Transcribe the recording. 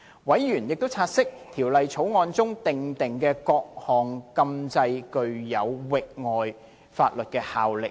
委員亦察悉，《條例草案》中訂定的各項禁制具有域外法律效力。